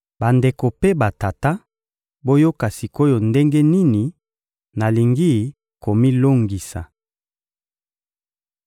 — Bandeko mpe batata, boyoka sik’oyo ndenge nini nalingi komilongisa.